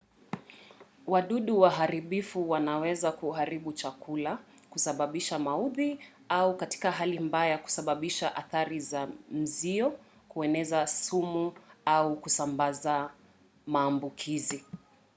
wadudu waharibifu wanaweza kuharibu chakula kusababisha maudhi au katika hali mbaya kusababisha athari za mzio kueneza sumu au kusambaza maambukizi